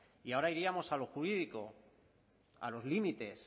y ahora iríamos a lo jurídico a los límites